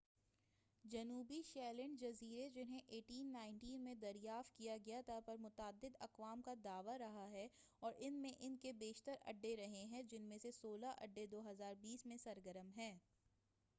جنوبی شیٹلینڈ جزیرے جنھیں 1819 میں دریافت کیا گیا تھا پر متعدد اقوام کا دعویٰ رہا ہے اور ان میں ان کے بیشتر اڈے رہے ہیں جن میں سے سولہ اڈے 2020 میں سرگرم ہیں